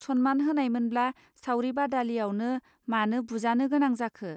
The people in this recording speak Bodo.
सनमान होनाय मोनब्ला सावरि बादालियावनो मानो बुजानो गोनां जाखो